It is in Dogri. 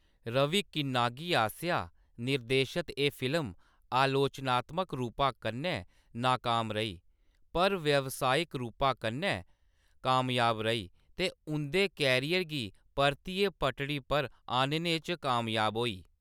रवि किन्नागी आसेआ निर्देशत एह्‌‌ फिल्म आलोचनात्मक रूपा कन्नै नाकाम रेही, पर व्यावसायिक रूपा कन्नै कामयाब रेही ते उंʼदे करियर गी परतियै पटड़ी पर आह्‌‌‌नने च कामयाब होई।